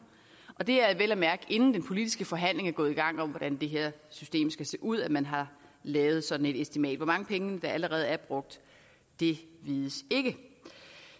det er vel at mærke inden den politiske forhandling er gået i gang om hvordan det her system skal se ud at man har lavet et sådant estimat hvor mange penge der allerede er brugt vides ikke